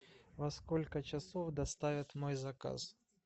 во сколько часов доставят мой заказ